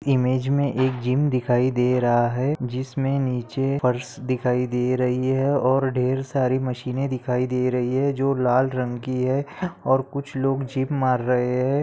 Image मे एक gym दिखाई दे रहा है जिसमें नीचे फर्श दिखाई दे रही है और ढेर सारी मशीन -ए दिखाई दे रही है जो लाल रंग की है और कुछ लोग जीप मार रहे हैं।